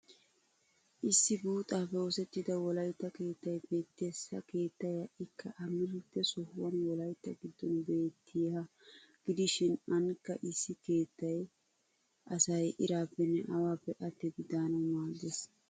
Issi buuxaappe oosettida wolaytta keettay beettes. Ha keettay ha'ikka amarida sohuwan wolaytta. giddon. beettiyahaa gidishin anikka issi keettaa asay iraappenne awaappe attidi daanawu maaddes.